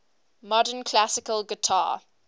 modern classical guitar